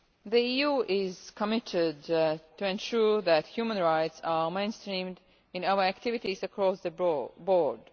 The EU is committed to ensuring that human rights are mainstreamed in our activities across the